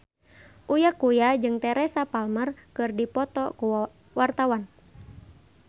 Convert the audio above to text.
Uya Kuya jeung Teresa Palmer keur dipoto ku wartawan